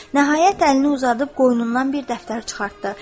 Nəhayət əlini uzadıb qoynundan bir dəftər çıxartdı.